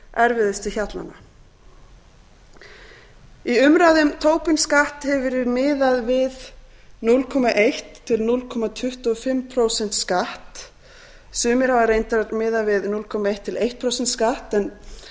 erfiðustu hjallana í umræðu um tobin skatt hefur verið miðað við núll komma eitt til núll komma tuttugu og fimm prósent skatt sumir hafa reyndar miðað við núll komma eitt til eitt prósent skatt